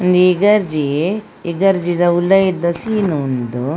ಉಂದು ಒಂಜಿ ಉಲಯಿದ ಸೀನ್ ಉಂದು.